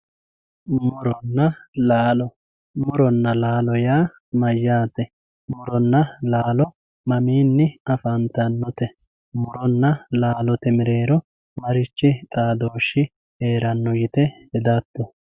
muronna laalo, muronna laalo yaa mayyaate muronna laalo mamiinni afantannote muronna laalote mereero marichi xaadooshshi heeranno yite hedatto